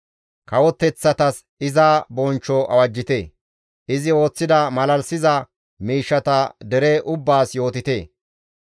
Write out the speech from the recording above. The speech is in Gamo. Kawoteththatas iza bonchcho awajjite; izi ooththida malalisiza miishshata dere ubbaas yootite.